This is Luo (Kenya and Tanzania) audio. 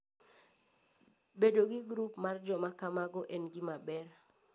Bedo gi grup mar joma kamago en gima ber.